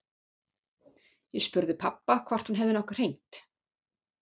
Ég spurði pabba hvort hún hefði nokkuð hringt.